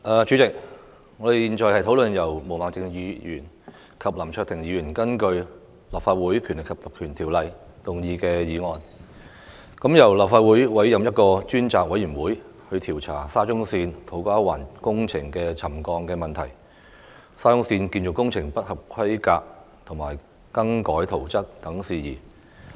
主席，我們現在討論由毛孟靜議員和林卓廷議員根據《立法會條例》動議的議案，動議由立法會委任一個專責委員會，調查沙田至中環線土瓜灣工程的沉降問題，以及沙中線建造工程不合規格和更改圖則等事宜。